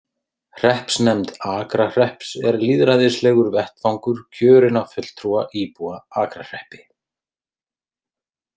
Hreppsnefnd Akrahrepps er lýðræðislegur vettvangur kjörinna fulltrúa íbúa Akrahreppi.